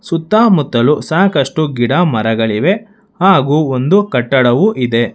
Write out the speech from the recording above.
ಸುತ್ತಮುತ್ತಲು ಸಾಕಷ್ಟು ಗಿಡ ಮರಗಳಿವೆ ಹಾಗು ಒಂದು ಕಟ್ಟಡವು ಇದೆ.